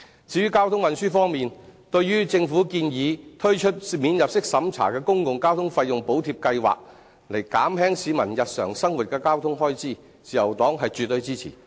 至於交通運輸方面，對於政府建議推出免入息審查的公共交通費用補貼計劃，以減輕市民日常生活的交通開支，自由黨是絕對支持的。